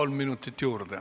Kolm minutit juurde.